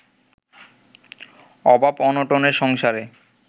অভাব অনটনের সংসারে